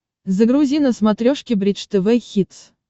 загрузи на смотрешке бридж тв хитс